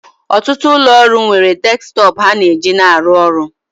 Ọtụtụ ụlọ ọrụ nwere desktọpụ ha na-eji na arụ ọrụ